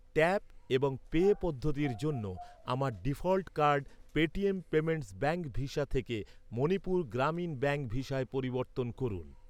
Tap এবং pay পদ্ধতির জন্য, আমার default card, Paytm payments bank Visa থেকে মণিপুর গ্রামীণ ব্যাঙ্ক ভিসায় পরিবর্তন করুন।